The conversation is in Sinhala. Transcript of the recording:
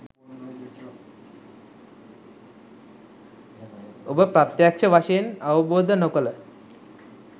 ඔබ ප්‍රත්‍යක්ශ වශයෙන් අවබෝධ නොකළ